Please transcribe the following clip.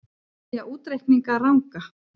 Segja útreikninga ranga